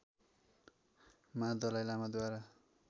मा दलाइ लामाद्वारा